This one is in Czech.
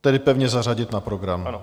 Tedy pevně zařadit na program.